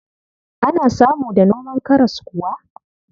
Ana samu da noman karas kuwa?